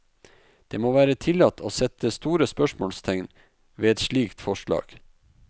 Det må være tillatt å sette store spørsmålstegn ved et slikt forslag.